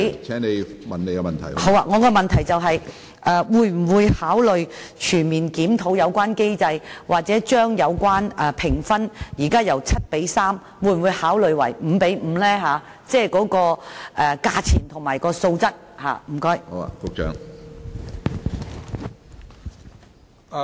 我的補充質詢是：政府會否考慮全面檢討有關機制，又或調整評分制度中價錢和素質的比例，由現時的 7:3 調整至 5:5？